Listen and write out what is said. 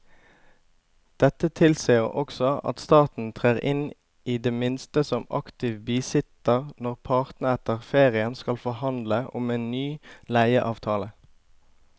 Dette tilsier også at staten trer inn i det minste som aktiv bisitter når partene etter ferien skal forhandle om en ny leieavtale.